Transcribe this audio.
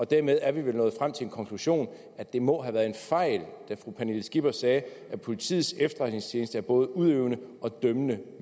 dermed er vi vel nået frem til den konklusion at det må have været en fejl at fru pernille skipper sagde at politiets efterretningstjeneste er både udøvende og dømmende